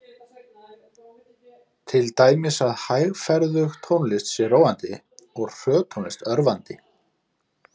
Til dæmis að hægferðug tónlist sé róandi og hröð tónlist örvandi.